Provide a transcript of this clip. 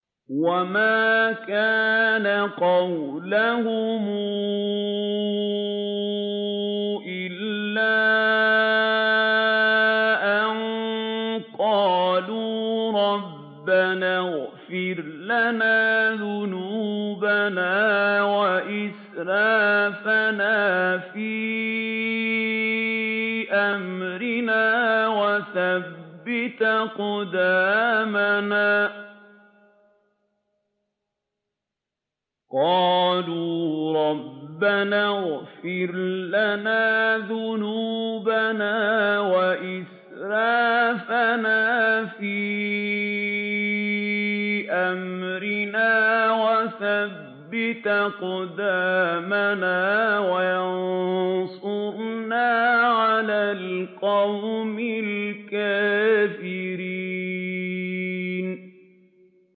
وَمَا كَانَ قَوْلَهُمْ إِلَّا أَن قَالُوا رَبَّنَا اغْفِرْ لَنَا ذُنُوبَنَا وَإِسْرَافَنَا فِي أَمْرِنَا وَثَبِّتْ أَقْدَامَنَا وَانصُرْنَا عَلَى الْقَوْمِ الْكَافِرِينَ